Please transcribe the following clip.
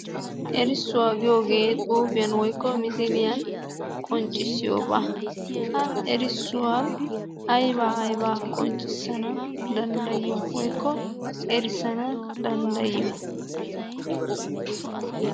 Erissuwa giyoogee xuufiyan woyikko misiliyan qonccissiyoobaa. Ha erissuwan aybaa aybaa qonccissana danddayiyo woyikko erissana danddayiyo?